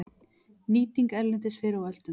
Nýting erlendis fyrr á öldum